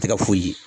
Tɛ ka foyi ye